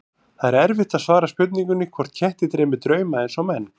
Það er erfitt að svara spurningunni hvort ketti dreymi drauma eins og menn.